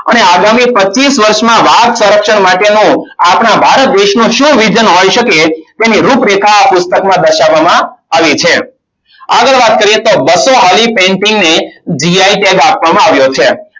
અને આગામી પચ્ચીસ વર્ષમાં વાઘ સંરક્ષણ માટેનો આપણા ભારત દેશનું શું vision હોઈ શકે. તેની રૂપરેખા આ પુસ્તકમાં દર્શાવવામાં આવી છે. આગળ વાત કરીએ. તો બસો વાળી painting ને gi tag આપવામાં આવ્યો છે.